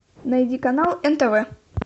найди канал нтв